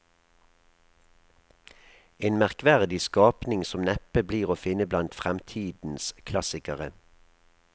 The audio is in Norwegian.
En merkverdig skapning som neppe blir å finne blant fremtidens klassikere.